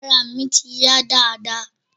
Arà mi ti yá dáadáa.